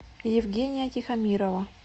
евгения тихомирова